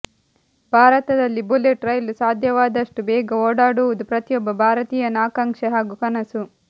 ಭಾರತದಲ್ಲಿ ಬುಲೆಟ್ ರೈಲು ಸಾಧ್ಯವಾದಷ್ಟು ಬೇಗ ಓಡಾಡುವುದು ಪ್ರತಿಯೊಬ್ಬ ಭಾರತೀಯನ ಆಕಾಂಕ್ಷೆ ಹಾಗೂ ಕನಸು